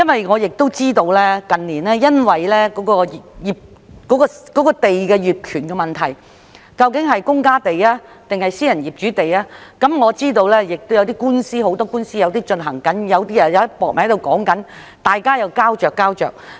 我知道近年出現土地業權問題，爭論有關土地屬於公家地抑或私人業主地，亦知道現時有很多官司正在進行，也有些在商討中，處於膠着狀態。